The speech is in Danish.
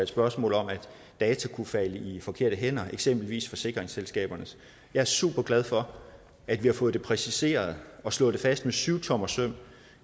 spørgsmål om at data kunne falde i de forkerte hænder eksempelvis forsikringsselskabernes jeg er superglad for at vi har fået præciseret og slået fast med syvtommersøm